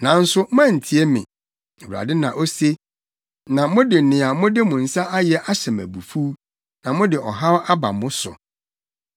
“Nanso moantie me,” Awurade na ose, “na mode nea mode mo nsa ayɛ ahyɛ me abufuw, na mode ɔhaw aba mo so.”